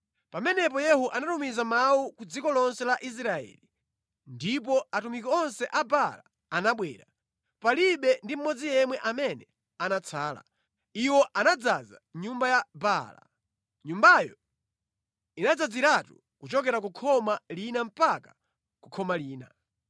Pamenepo Yehu anatumiza mawu ku dziko lonse la Israeli ndipo atumiki onse a Baala anabwera; palibe ndi mmodzi yemwe amene anatsala. Iwo anadzaza nyumba ya Baala. Nyumbayo inadzaziratu kuchokera ku khoma lina mpaka ku khoma lina.